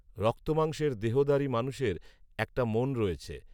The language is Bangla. রক্তমাংসের দেহধারী মানুষের একটা মন রয়েছে